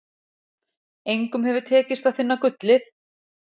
Engum hefur tekist að finna gullið.